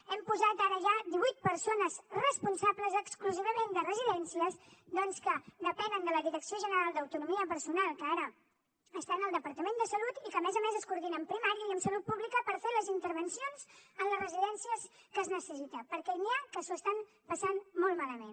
hem posat ara ja divuit persones responsables exclusivament de residències doncs que depenen de la direcció general de l’autonomia personal que ara estan al departament de salut i que a més a més es coordina amb primària i amb salut pública per fer les intervencions en les residències en què es necessita perquè n’hi ha que s’ho estan passant molt malament